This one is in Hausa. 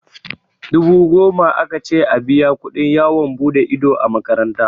Dubu goma aka ce a biya kuɗin yawon buɗe ido a makaranta.